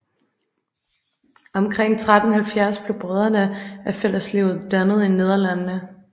Omkring 1370 blev Brødrene af Fælleslivet dannet i Nederlandene